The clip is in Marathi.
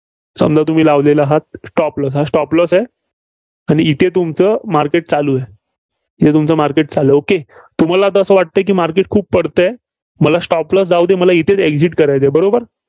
समजा तुम्ही लावलेला आहात stop loss हा stop loss आहे. आणि इथे तुमचं market चालू आहे. हे तुमचं market चालू आहे. okay तुम्हाला आता असं वाटतंय की market खूप पडतंय, मला stop loss जाऊ दे, मला इथेच Exit करायचं आहे, बरोबर?